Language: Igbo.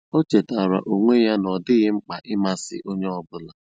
Ó chétárá ónwé yá nà ọ́ dị́ghị́ mkpà ị̀másị́ ónyé ọ́ bụ́là.